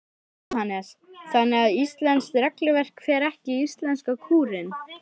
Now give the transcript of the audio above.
Jóhannes: Þannig að íslenskt regluverk fer ekki í íslenska kúrinn?